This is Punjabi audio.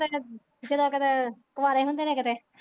ਜਦੋਂ ਕਦੇ ਕੁਆਰੇ ਹੁੰਦੇ ਨੇ ਕਿਤੇ।